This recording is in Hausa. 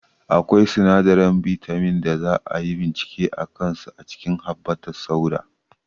Akwai sinadaran bitamins da za a yi bincike a kansu a cikin habbatussauda